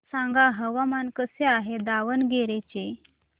सांगा हवामान कसे आहे दावणगेरे चे